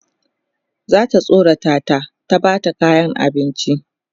zata tsorata ta ta Bata kayan abinci